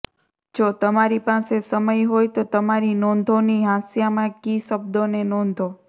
જો તમારી પાસે સમય હોય તો તમારી નોંધોની હાંસિયામાં કી શબ્દોને નોંધો